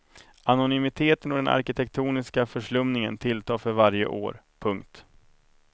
Anonymiteten och den arkitektoniska förslummningen tilltar för varje år. punkt